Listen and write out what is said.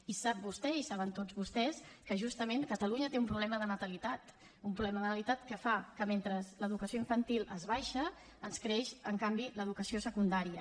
i sap vostè i ho saben tots vostès que justament catalunya té un problema de natalitat un problema de natalitat que fa que mentre l’educació infantil ens baixa ens creix en canvi l’educació secundària